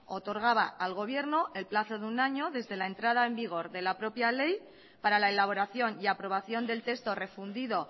otorgaba al gobierno el plazo de un año desde la entrada en vigor de la propia ley para la elaboración y aprobación del texto refundido